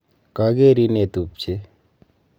Kagerin ee tupche.